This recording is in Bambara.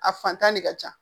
A fantan de ka ca